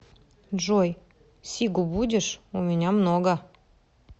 джой сигу будешь у меня много